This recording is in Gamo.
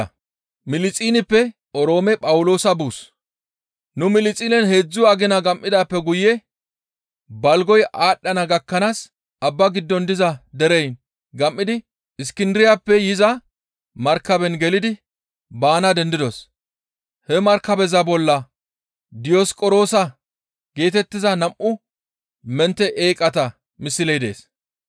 Nu Milixinen heedzdzu agina gam7idaappe guye balgoy aadhdhana gakkanaas abba giddon diza dereyin gam7idi Iskindiriyappe yiza markaben gelidi baana dendidos; he markabeza bolla Diyosiqoroosa geetettiza nam7u mentte eeqata misley dees.